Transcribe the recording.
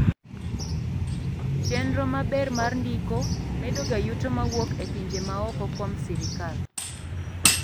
chenro maber mar ndiko medoga yuto mawuok e pinje maoko kuom sirikal